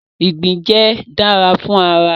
igbin jẹ dara fun ara